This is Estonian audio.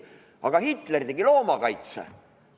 Aga Hitler tegi loomakaitse!